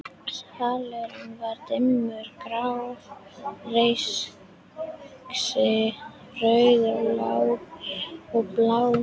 Salurinn var dimmur: grá reykský, rauð ljós og blá.